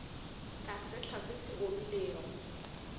ka sehla se se omilego